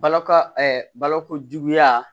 Balo ka baloko juguya